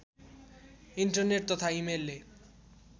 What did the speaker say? internet तथा इमेलले